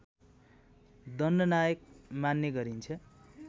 दण्डनायक मान्ने गरिन्छ